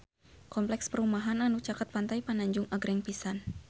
Kompleks perumahan anu caket Pantai Pananjung agreng pisan